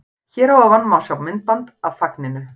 Hér að ofan má sjá myndband af fagninu.